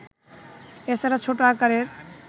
এছাড়া ছোট আকারের